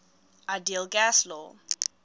ideal gas law